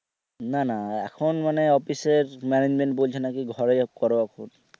না না, এখন মানে অফিসের management বলছে নাকি ঘরেই করো অফিস।